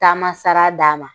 Taama sara d'a ma